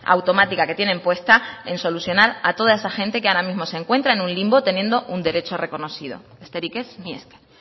automática que tienen puesta en solucionar a toda esa gente que ahora mismo se encuentra en un limbo teniendo un derecho reconocido besterik ez mila esker